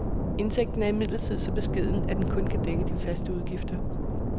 Indtægten er imidlertid så beskeden, at den kun kan dække de faste udgifter.